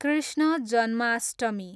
Krishna Janmashtami